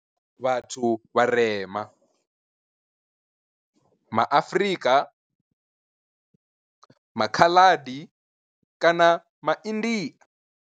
Vhathu vharema ma Afrika, MA Khaladi kana Ma India.